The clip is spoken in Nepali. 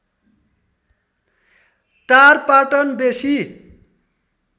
टार पाटन बेसी